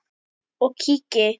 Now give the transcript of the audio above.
og kíki.